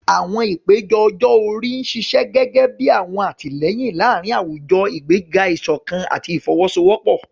Àwọn ìpele ọjọ́ orí ń ṣiṣẹ́ gẹ́gẹ́ bí ọ̀wọ̀n àtìlẹ́yìn láàárín àwùjọ, ìgbéga ìṣọ̀kan àti ìfọwọ́sowọ́pọ̀.